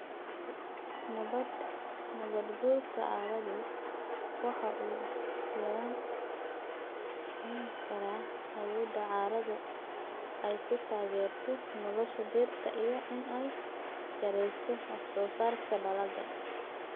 Nabaad guurka carradu waxa uu yarayn karaa awoodda carradu ay ku taageerto nolosha dhirta iyo in ay yarayso wax-soo-saarka dalagga.